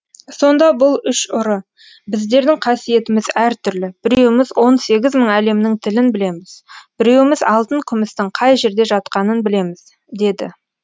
сонда бұл үш ұры біздердің қасиетіміз әр түрлі біреуіміз он сегіз мың әлемнің тілін білеміз біреуіміз алтын күмістің қай жерде жатқанын білеміз деді